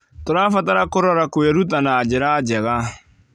Tũrabatara kũrora kwĩruta na njĩra njega.